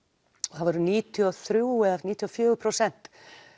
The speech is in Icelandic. og það voru níutíu og þrjú eða níutíu og fjögur prósent